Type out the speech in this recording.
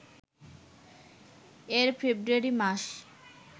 এর ফেব্রুয়ারি মাস